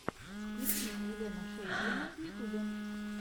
включи мне елену шейдлину в ютюбе